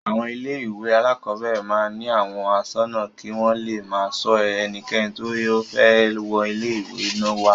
Àwọn ilé-ìwé alákọ̀ọ́bẹ̀rẹ̀ máa ń ní àwọn aṣọ́nà kí wọ́n le máa ṣọ ẹnikẹ́ni tí ó fẹ́ wọ ilé-ìwé wá.